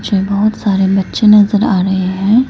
इसमें बहुत सारे बच्चे नजर आ रहे हैं।